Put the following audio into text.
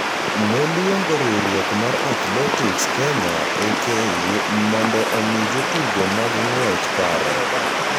noluongo riwruok mar Athletics Kenya (AK) mondo omi jotugo mag ng’wech paro,